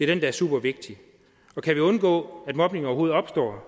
den der er super vigtig og kan vi undgå at mobning overhovedet opstår